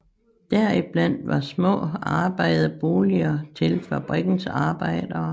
Deriblandt var små arbejderboliger til fabrikkens arbejdere